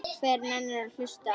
Hver nennir að hlusta á.